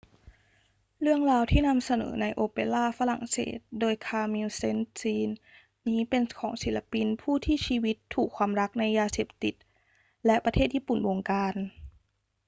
เรื่องราวที่นำเสนอในโอเปราฝรั่งเศสโดย camille saint-saens นี้เป็นของศิลปิน ผู้ที่ชีวิตถูกความรักในยาเสพติดและประเทศญี่ปุ่นบงการ